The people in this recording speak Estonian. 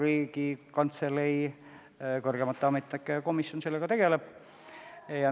Riigikantselei kõrgemate ametnike komisjon tegeleb sellega.